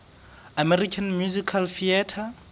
american musical theatre